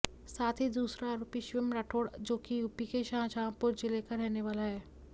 साथ ही दूसरा आरोपी शिवम राठौड़ जोकि यूपी के शाहजहांपुर जिले का रहने वाला है